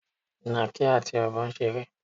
Ìnàkí àti Ọ̀bọ ń ṣeré.